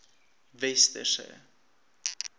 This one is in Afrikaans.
westerse